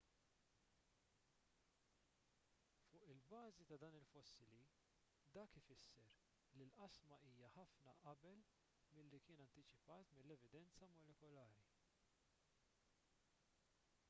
fuq il-bażi ta' dan il-fossili dak ifisser li l-qasma hija ħafna qabel milli kien antiċipat mill-evidenza molekulari